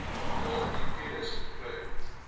daardie kennis gekry